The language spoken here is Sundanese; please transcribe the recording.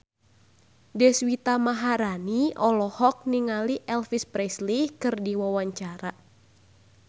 Deswita Maharani olohok ningali Elvis Presley keur diwawancara